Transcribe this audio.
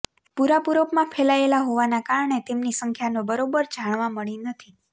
પુરા પુરોપમાં ફેલાયેલા હોવાના કારણે તેમની સંખ્યાનો બરોબર જાણવા મળી નથી